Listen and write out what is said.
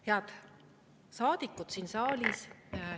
Head saadikud siin saalis!